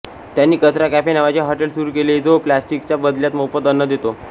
त्यांनी कचरा कॅफे नावाचे हॉटेल सुरू केले जो प्लास्टिकच्या बदल्यात मोफत अन्न देतो